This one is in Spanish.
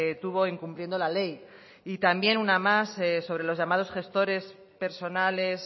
tuvo incumpliendo la ley y también una más sobre los llamados gestores personales